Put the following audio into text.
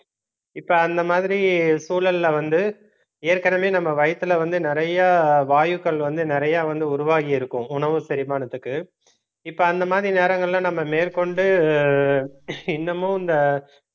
இப்ப அந்த மாதிரி சூழல்ல வந்து ஏற்கனவே நம்ம வயித்துல வந்து நிறைய வாயுக்கள் வந்து நிறைய வந்து உருவாகியிருக்கும் உணவு செரிமானத்துக்கு இப்ப அந்த மாதிரி நேரங்கள்ல நம்ம மேற்கொண்டு இன்னமும் இந்த